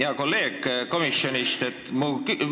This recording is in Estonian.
Hea kolleeg komisjonist!